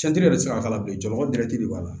bɛ se ka k'a la bilen jɔnjɔgɔ bɛrɛ tɛ de b'a la